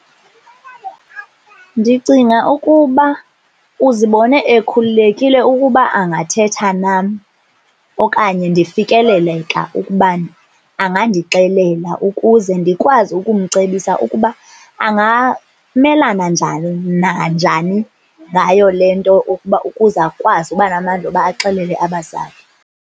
Ndicinga ukuba uzibone ekhululekile ukuba angathetha nam okanye ndifikeleleka ukubana angandixelela ukuze ndikwazi ukumcebisa ukuba angamelana njani nanjani ngayo le nto ukuba ukuze akwazi uba namandla yoba axelele abazali.